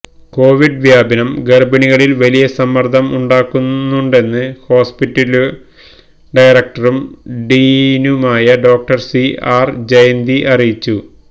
Covid വ്യാപനം ഗര്ഭിണികളില് വലിയ സമ്മര്ദ്ദം ഉണ്ടാക്കുന്നുണ്ടെന്ന് ഹോസ്പിറ്റല് ഡയറക്ടറും ഡീനുമായ ഡോക്ടര് സി ആര് ജയന്തി അറിയിച്ചു